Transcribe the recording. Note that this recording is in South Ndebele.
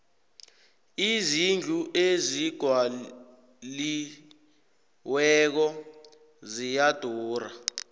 izindlu ezigwaliweko ziyadura